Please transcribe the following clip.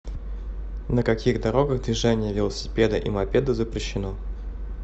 на каких дорогах движение велосипеда и мопеда запрещено